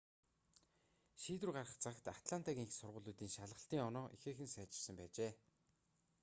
шийдвэр гарах цагт атлантагийн сургуулиудын шалгалтын оноо ихээхэн сайжирсан байжээ